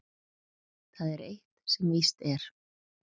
Það er eitt sem víst er.